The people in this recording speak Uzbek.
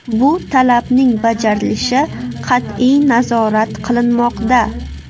Bu talabning bajarilishi qat’iy nazorat qilinmoqda.